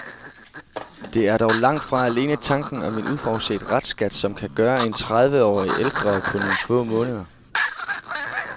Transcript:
Det er dog langt fra alene tanken om en uforudset restskat, som kan gøre en tredive år ældre på nogle få måneder.